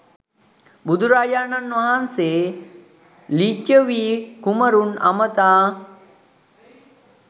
බුදුරජාණන් වහන්සේ ලිච්ඡවී කුමාරවරුන් අමතා